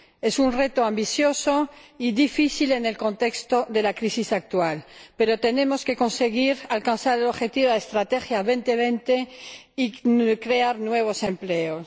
Es un reto ambicioso y difícil en el contexto de la crisis actual, pero tenemos que conseguir alcanzar el objetivo de la Estrategia 2020 y crear nuevos empleos.